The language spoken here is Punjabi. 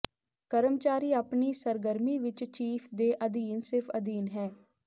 ਕਰਮਚਾਰੀ ਆਪਣੀ ਸਰਗਰਮੀ ਵਿਚ ਚੀਫ਼ ਦੇ ਅਧੀਨ ਸਿਰਫ ਅਧੀਨ ਹੈ